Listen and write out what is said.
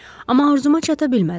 Amma arzuma çata bilmədim.